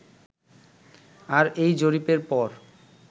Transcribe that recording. আর এই জরিপের পর